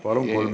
Palun!